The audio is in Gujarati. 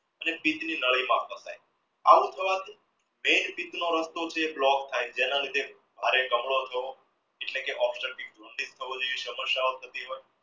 આવું થવાથી main નો રસ્તો છે block થાય છે એના લીધે ભારે કમળો થવો એટલે કે થતી હોય